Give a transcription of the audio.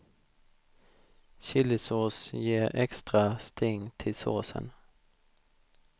Chilisås ger extra sting till såsen.